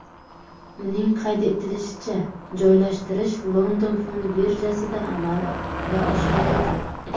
Uning qayd etishicha, joylashtirish London fond birjasida amalga oshiriladi.